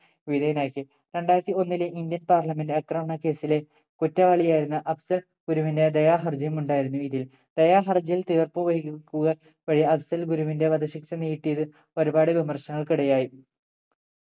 വിധേയനാക്കി രണ്ടായിരത്തി ഒന്നിലെ indian parliament ആക്രമണ case ലെ കുറ്റവാളിയായിരുന്ന അഫ്സൽ ഗുരുവിന്റെ ദയാഹർജിയും ഉണ്ടായിരുന്നു ഇതിൽ ദയാഹർജിയിൽ തീർപ്പു വെയ്ക്കുക വഴി അഫ്സൽ ഗുരുവിന്റെ വധശിക്ഷ നീട്ടിയത് ഒരുപാട് വിമർശനങ്ങൾക്ക് ഇടയായി